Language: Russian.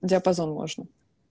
диапазон можно